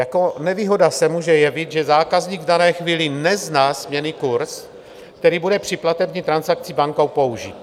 Jako nevýhoda se může jevit, že zákazník v dané chvíli nezná směnný kurz, který bude při platební transakci bankou použit.